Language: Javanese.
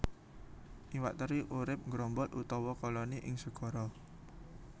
Iwak teri urip nggrombol utawa koloni ing segara